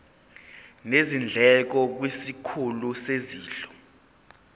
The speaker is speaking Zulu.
nezindleko kwisikhulu sezondlo